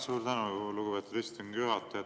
Suur tänu, lugupeetud istungi juhataja!